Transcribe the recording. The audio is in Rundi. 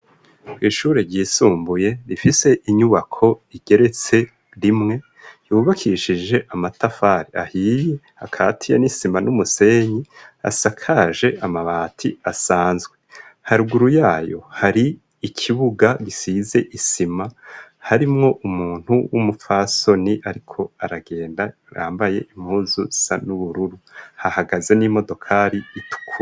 Kw'ishuri ryisumbuye rifise inyubako igeretse rimwe yubakishije amatafari ahiye akatiya n'isima n'umusenyi asakaje amabati asanzwe haruguru yayo hari ikibuga gisize isima harimwo umuntu w'umupfasoni ni, ariko aragenda rambaye impuzu sa n'ubururu hahagaze n'imodokali ituku.